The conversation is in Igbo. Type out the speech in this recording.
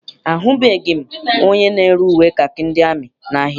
Ahụbeghị m onye na-ere uwe kakị ndị amị n'ahia.